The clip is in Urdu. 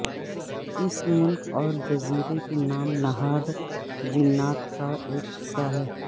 اس ملک اور جزیرے کے نام نہاد جنات کا ایک حصہ ہے